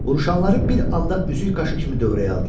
Vuruşanları bir anda üzük qaşı kimi dövrəyə aldılar.